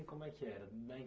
E como é que era? da